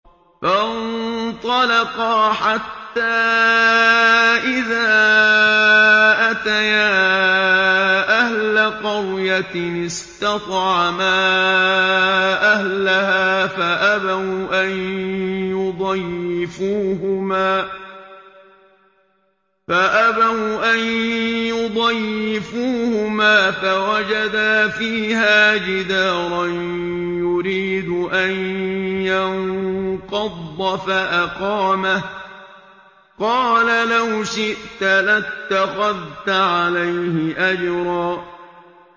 فَانطَلَقَا حَتَّىٰ إِذَا أَتَيَا أَهْلَ قَرْيَةٍ اسْتَطْعَمَا أَهْلَهَا فَأَبَوْا أَن يُضَيِّفُوهُمَا فَوَجَدَا فِيهَا جِدَارًا يُرِيدُ أَن يَنقَضَّ فَأَقَامَهُ ۖ قَالَ لَوْ شِئْتَ لَاتَّخَذْتَ عَلَيْهِ أَجْرًا